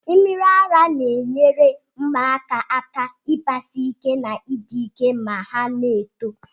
Mmiri ara na enye igbasike ma ari ike ma ọna eto